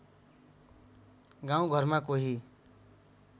गाउँ घरमा कोही